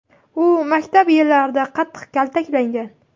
U maktab yillarida qattiq kaltaklangan.